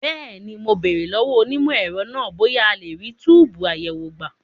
Bẹ́ẹ̀ni, mo béèrè lọ́wọ́ onímọ̀ ẹ̀rọ náà bóyá a lè rí túbùù àyẹ̀wò gbà.